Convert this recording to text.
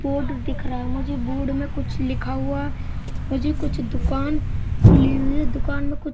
board दिख रहा है मुझे बोर्ड में कुछ लिखा हुआ मुझे कुछ दुकान खुली हुई दुकान में कुछ--